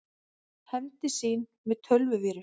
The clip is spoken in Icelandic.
Hefndi sín með tölvuvírus